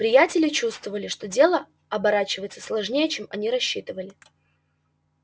приятели чувствовали что дело оборачивается сложнее чем они рассчитывали